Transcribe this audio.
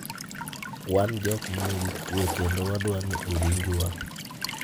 "Wan jok manigi kwe kendo wadwani owinjwa".